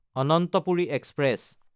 Ananthapuri express